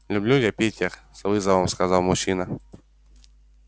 люблю я питер с вызовом сказал мужчина